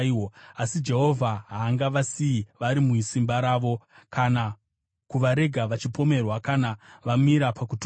asi Jehovha haangavasiyi vari musimba ravo, kana kuvarega vachipomerwa kana vamira pakutongwa.